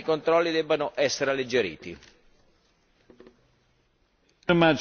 Credo tuttavia che anche per le piccole imprese agricole tali controlli debbano essere alleggeriti.